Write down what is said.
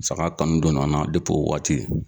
Saga kanu donna n na depi o waati.